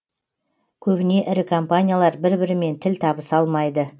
көбіне ірі компаниялар бір бірімен тіл табыса алмайды